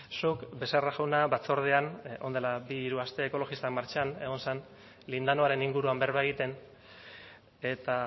zuk becerra jauna batzordean orain dela bi hiru aste ekologistak martxan egon zen lindanoaren inguruan berba egiten eta